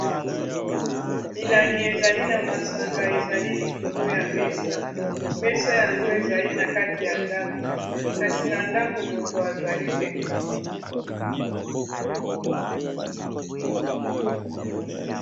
milangi ezali na masanga ezali likolo ya mesa mesa yango ezali na kati ya ndako kasi na ndako moto azali te